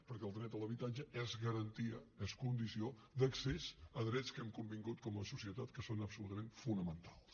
perquè el dret a l’habitatge és garantia és condició d’accés a drets que hem convingut com a societat que són absolutament fonamentals